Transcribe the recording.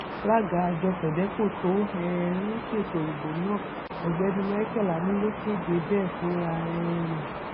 alága àjọ fedeco tó um ń ṣètò ìbò náà ọgbẹni michael ani ló kéde bẹẹ fúnra um rẹ